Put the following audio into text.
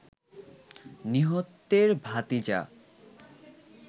নিহতের ভাতিজা